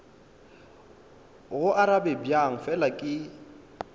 go arabe bjang fela ke